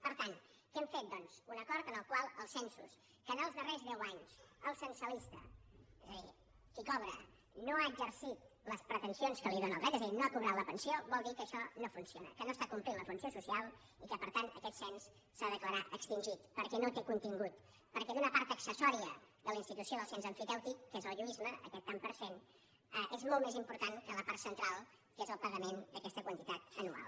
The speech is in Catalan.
per tant què hem fet doncs un acord en el qual els censos que en els darrers deu anys el censalista és a dir qui cobra no ha exercit les pretensions que li dóna el dret és a dir no ha cobrat la pensió vol dir que això no funciona que no està complint la funció social i que per tant aquest cens s’ha de declarar extingit perquè no té contingut perquè d’una part accessòria de la institució del cens emfitèutic que és el lluïsme aquest tant per cent és molt més important que la part central que és el pagament d’aquesta quantitat anual